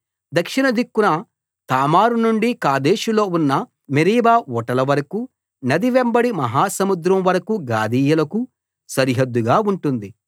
దక్షిణదిక్కున తామారునుండి కాదేషులో ఉన్న మెరీబా ఊటలవరకూ నది వెంబడి మహా సముద్రం వరకూ గాదీయులకు సరిహద్దుగా ఉంటుంది